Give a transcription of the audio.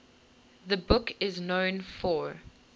the book is known for